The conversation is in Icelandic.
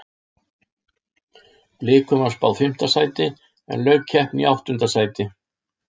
Blikum var spáð fimmta sæti en lauk keppni í áttunda sæti.